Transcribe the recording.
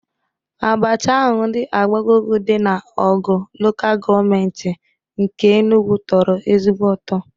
Abacha ahụ ndị Agbogogu dị na Ọgwu Lokal Gọọmenti nke Enugwu tọrọ ezigbo ụtọ